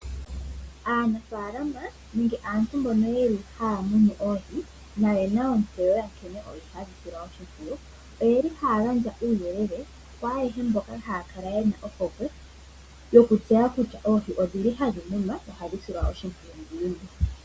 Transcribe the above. Aanafalama nenge aantu mbono yeli haya muna oohi nayena ontseyo yankene oohi hadhi silwa oshipwiyu oyeli haya gandja uuyelele kwaayeshe mboka haya kala yena ohokwe hokutseya kutya oohi odhili hadhimuna nokusilwa oshimpwiyu ngiini.